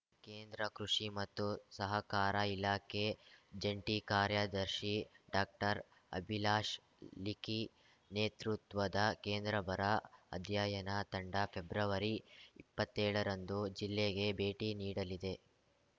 ಕೇಂದ್ರ ಕೃಷಿ ಮತ್ತು ಸಹಕಾರ ಇಲಾಖೆ ಜಂಟಿ ಕಾರ್ಯದರ್ಶಿ ಡಾಕ್ಟರ್ಅಭಿಲಾಷ್‌ ಲಿಖಿ ನೇತೃತ್ವದ ಕೇಂದ್ರ ಬರ ಅಧ್ಯಯನ ತಂಡ ಫೆಬ್ರವರಿಇಪ್ಪತ್ತೇಳರಂದು ಜಿಲ್ಲೆಗೆ ಭೇಟಿ ನೀಡಲಿದೆ